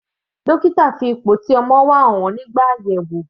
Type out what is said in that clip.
Dókítà fi ipò tí ọmọ wà hàn wọ́n nígbà àyẹ̀wò.